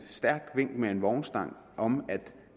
stærkt vink med en vognstang om at